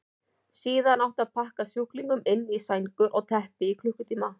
Síðan átti að pakka sjúklingunum inn í sængur eða teppi í klukkutíma.